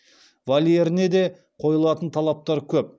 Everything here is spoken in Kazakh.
вольеріне де қойылатын талаптары көп